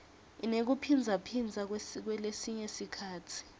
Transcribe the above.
inekuphindzaphindza kulesinye sikhatsi